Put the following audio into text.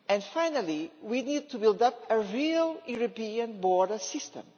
Finally, we need to build up a real European border system.